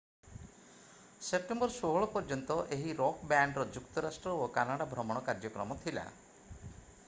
September 16 ପର୍ଯ୍ୟନ୍ତ ଏହି rock ବ୍ୟାଣ୍ଡର ଯୁକ୍ତରାଷ୍ଟ୍ର ଓ କାନାଡା ଭ୍ରମଣ କାର୍ଯ୍ୟକ୍ରମ ଥିଲା